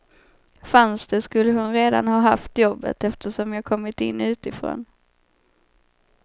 Fanns det skulle hon redan ha haft jobbet, eftersom jag kommit in utifrån.